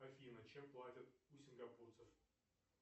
афина чем платят у сингапурцев